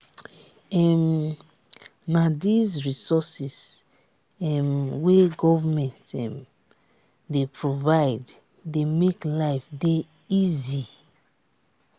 um na these resources um wey government um dey provide dey make life dey easy.